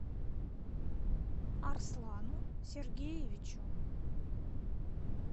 арслану сергеевичу